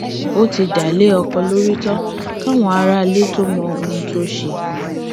ó ti dá a lé ọkọ lórí tán káwọn aráalé tóo mọ ohun tó ṣe